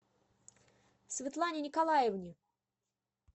светлане николаевне